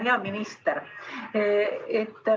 Hea minister!